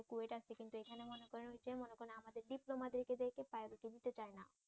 ডিপ্লোমাদেরকে দেখে প্রায়রিটি দিতে চায় না।